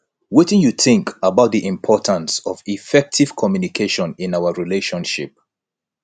wetin you think about di importance of effective communication in our relationship